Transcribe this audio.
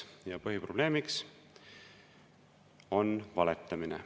Ja põhiprobleem on valetamine.